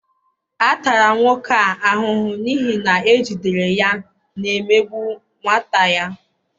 A tara nwoke a ahụhụ n'ihi na ejidere ya na-emegbu nwata ya